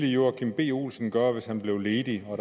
joachim b olsen gøre hvis han blev ledig og